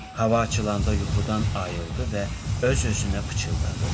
Hava açılanda yuxudan ayıldı və öz-özünə pıçıldadı.